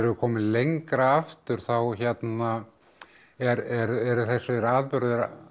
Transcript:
komin lengra aftur þá hérna eru þessir atburðir